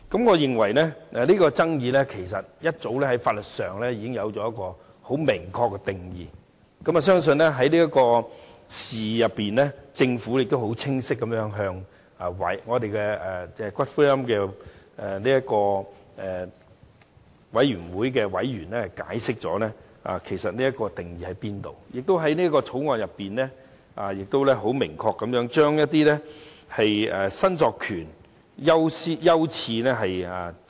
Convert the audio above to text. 我認為這爭議其實在法律上早有明確定義，而我亦相信在這次事件中，政府已清晰地向《私營骨灰安置所條例草案》委員會的委員解釋相關定義，而在《條例草案》中，政府亦已明確列明骨灰申索權的優次。